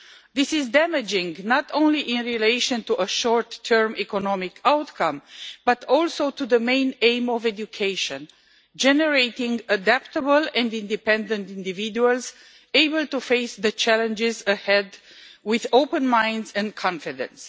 This is damaging, not only in relation to a short term economic outcome, but also to the main aim of education generating adaptable and independent individuals able to face the challenges ahead with open minds and confidence.